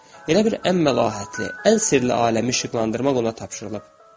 Elə bil ən məlahətli, ən sirli aləmi işıqlandırmaq ona tapşırılıb.